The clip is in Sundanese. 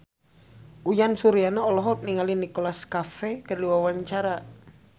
Uyan Suryana olohok ningali Nicholas Cafe keur diwawancara